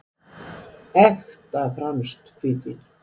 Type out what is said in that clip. Ekta franskt hvítvín.